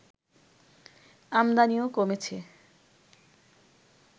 আমদানিও কমেছে